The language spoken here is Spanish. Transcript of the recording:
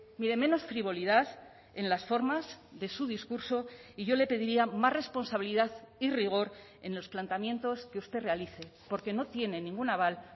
mire menos frivolidad en las formas de su discurso y yo le pediría más responsabilidad y rigor en los planteamientos que usted realice porque no tiene ningún aval